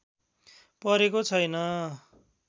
परेको छैन